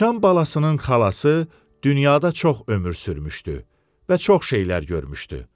Sıçan balasının xalası dünyada çox ömür sürmüşdü və çox şeylər görmüşdü.